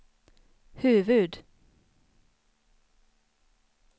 huvud-